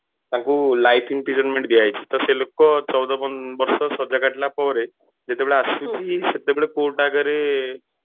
ତାଙ୍କୁ life imprisonment ଦିଆ ହେଇଛି ତ ସେ ଲୋକ ଚଉଦ ବର୍ଷ ସଜା କାଟିଲା ପରେ ଯେତେବେଳେ ଆସିଛି ସେତେବେଳେ court ଆଗରେ